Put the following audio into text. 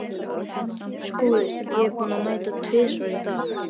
SKÚLI: Ég er búinn að mæta tvisvar í dag.